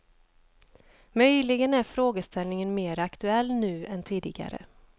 Möjligen är frågeställningen mera aktuell nu än tidigare.